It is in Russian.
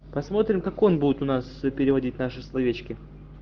посмотрим как он будет у нас переводить наши словечки